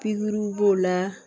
Pikiriw b'o la